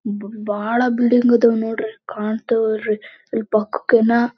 table ಇದೆ ಇದನ್ನು ಎಲ್ಲಾ ಟೇಬಲ್ ಮೇಲೆ ಇಟ್ಟಿದಾರೆ ಮದ್ಯಾನದ ಕಪ್ಪು ಬಣ್ಣದ--